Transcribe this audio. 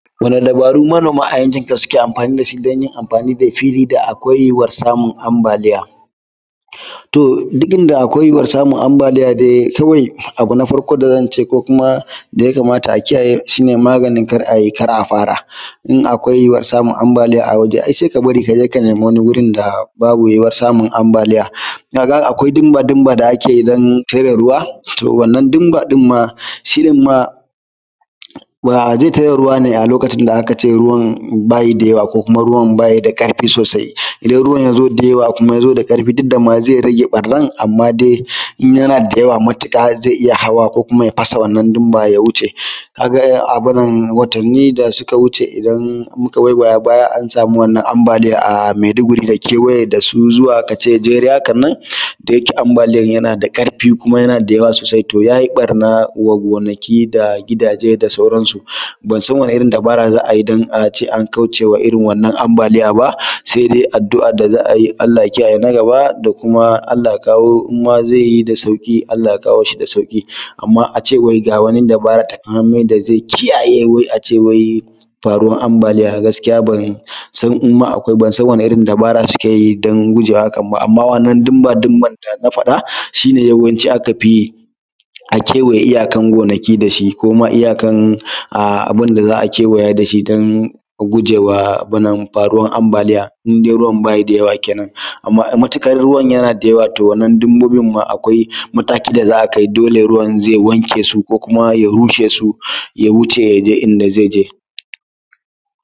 Wani dabaru manoma a yanki ka suke amfani da shi dan yin amfani da fili da akwai yuwuwan samun ambaliya. To duk inda akwai yuwuwar samun ambaliya dai kawai abu na farko da zan ce ko kuma da ya kamata a kiyaye maganin kar a yi kar a fara in akwai yuwar samun ambaliya a waje ai sai ka bari kaje ka nemi wani wuri da babu yuwuwar samun ambaliya na ga akwai diba diban da ake yi don tare ruwa to wannan ɗin ba din ma shi ɗin ma ba zai tare ruwa bane a lokacin da za`a ce ruwan ba shi da yawa ko kuma ruwan baya da ƙarfi sosai idan ruwan ya zo da yawa kuma ya zo da ƙarfi sosai duk da ma zai rage ɓarnan a ma dai in yana da yawa matuƙa zai iya hawa ko kuma zai iya fasa wannan dinba ya wuce ka ga abin nan watanni da suka wuce idan muka waiwaya baya an sami wannan ambaliya a Maiduguri da kewaye zuwa kace jere haka nan da yake ambaliyar yana ƙarfi kuma yana da da yawa sosai to ya barnata gonaki da gidaje da sauransu bansan wani irin dabara za`a yi don a ce an kaucewa irin wannan ambaliya ba sai dai addu`a da za ayi Allah ya kiyaye na gaba da kuma Allah ya kawo zai yi da sauƙi amma a ce wai ga wani dabara taƙamaimai da zai kiyaye a ce wai farin ambaliya to gaskiya ban san in ma akwai ban san wani irin dabara suke yid an gujewa hakan ba amma idan wannan diba diban da na faɗa shi ne yawanci aka fi yi a kewaye iyakan gonaki da shi kuma iyakan a abun da za`a kewaya da shi don gujewa abun nan faruwan ambaliya in dai ruwa baya da yawa kenan amma matuƙar ruwn yana da yawa to wannan dabbobin ma akwai matakin da za`a kai dole ruwan zai wanke su ko kuma ya rushe su ya wuce ya je in da zai je.